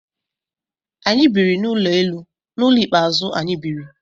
Anyị biri n'ụlọ elu n'ụlọ ikpe azu anyị biri